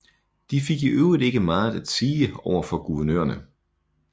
De fik i øvrigt ikke meget at sige over for guvernørerne